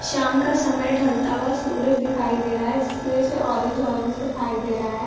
शाम का समय ढ़लता हुआ सूरज दिखाई दे रहा है जिसकी वजह से ऑरेंज ऑरेंज दिखाई दे रहा है।